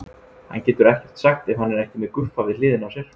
Hann getur ekkert sagt ef hann er ekki með Guffa við hliðina á sér.